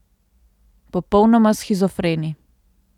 Popolnoma shizofreni.